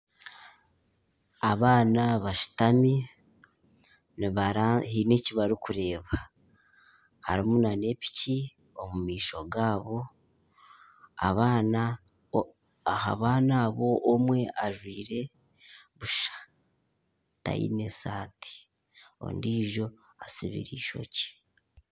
Abaana bashutami haine eki barikureeba harimu nana piki omu maisho gaabo, aha baana abo omwe ajwire busha taine saati ondiijo atsibire eishokye